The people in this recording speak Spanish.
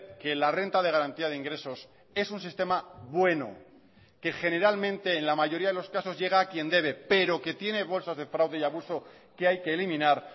que la renta de garantía de ingresos es un sistema bueno que generalmente en la mayoría de los casos llega a quien debe pero que tiene bolsas de fraude y abuso que hay que eliminar